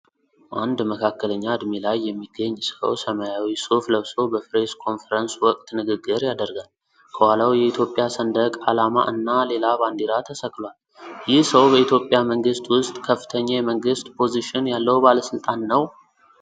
አንድ መካከለኛ እድሜ ላይ የሚገኝ ሰው ሰማያዊ ሱፍ ለብሶ በ ፕሬስ ኮንፈረንስ ወቅት ንግግር ያደርጋል። ከኋላው የኢትዮጵያ ሰንደቅ ዓላማ እና ሌላ ባንዲራ ተሰቅሏል። ይህ ሰው በኢትዮጵያ መንግሥት ውስጥ ከፍተኛ የመንግሥት ፖዚሽን ያለው ባለሥልጣን ነው?